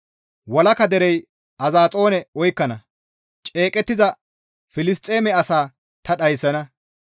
Walaka derey Azaxoone oykkana; ceeqettiza Filisxeeme asaa ta dhayssana.